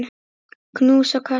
Knús og kossar.